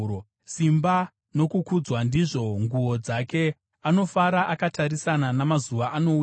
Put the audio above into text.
Simba nokukudzwa ndizvo nguo dzake; anofara akatarisana namazuva anouya.